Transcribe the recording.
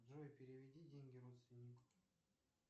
джой переведи деньги родственнику